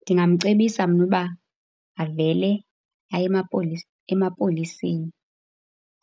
Ndingamcebisa mna uba avele aye emapoliseni